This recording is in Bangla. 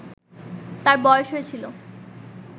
তার বয়স হয়েছিল